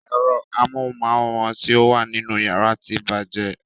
Ero amóhunmáwòrán ti o wà nínú yàrá tí bàjẹ́.